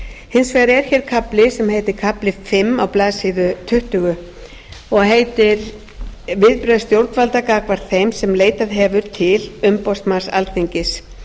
hins vegar er hér kafli sem heitir kafli fimm á blaðsíðu tuttugu og heitir viðbrögð stjórnvalda gagnvart þeim sem leitað hefur til umboðsmanns alþingis